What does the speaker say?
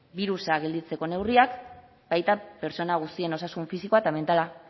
birusa gelditzeko neurriak baita pertsona guztien osasun fisikoa eta mentala